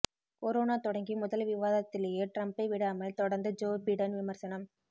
corona தொடங்கி முதல் விவாதத்திலேயே டிரம்பை விடாமல் தொடர்ந்து ஜோ பிடன் விமர்சனம்